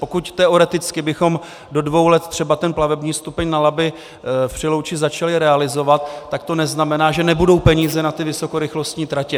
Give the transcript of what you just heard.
Pokud teoreticky bychom do dvou let třeba ten plavební stupeň na Labi v Přelouči začali realizovat, tak to neznamená, že nebudou peníze na ty vysokorychlostní tratě.